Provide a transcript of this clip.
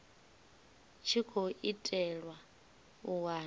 tshi khou itelwa u wana